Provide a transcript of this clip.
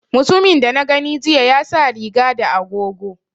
Mutumin da na gani jiya ya sa riga da agogo